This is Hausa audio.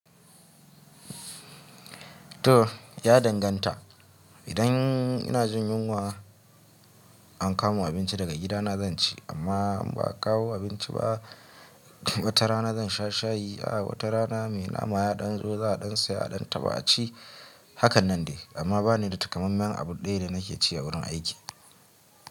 To ya danganta. Idan ina jin yunwa an kawo min abinci daga gidana zan ci, amma ba a kawo abinci ba wata rana zan sha shayi. A wata rana mai nama ya ɗan zo za a ɗan saya a ɗan taba a ci. Hakannan de, amma ba ni da takammamen abu ɗaya da nake ci a wurin aiki.